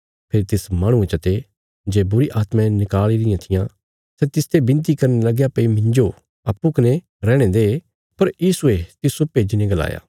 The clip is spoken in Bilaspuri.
फेरी तिस माहणुये चते जे बुरीआत्मायें निकाल़ी रियां थी सै तिसते बिनती करने लगया भई मिन्जो अप्पूँ कने रैहणे दे पर यीशुये तिस्सो भेज्जीने गलाया